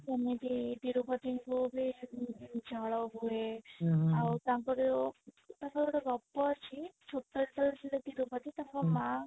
ସେମିତି ତିରୁପତିଙ୍କୁ ବି ଝାଳ ବହେ ଆଉ ତାଙ୍କର ତାଙ୍କର ଗୋଟେ ଗପ ଅଛି ଛୋଟ ଯେତେବେଳେ ଥିଲେ ତିରୁପତି ତାଙ୍କ ମା